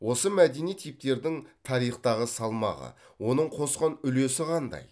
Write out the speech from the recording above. осы мәдени типтердің тарихтағы салмағы оның қосқан үлесі қандай